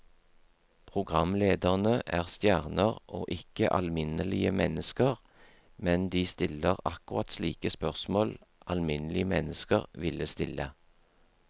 Programlederne er stjerner og ikke alminnelige mennesker, men de stiller akkurat slike spørsmål alminnelige mennesker ville stille.